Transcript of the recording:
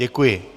Děkuji.